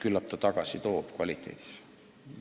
Küllap ta toob kvaliteedis tagasi.